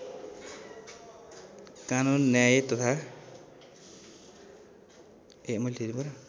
कानून न्याय तथा